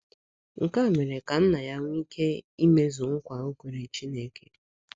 Nke a mere ka nna ya nwee ike imezu nkwa o kwere Chineke.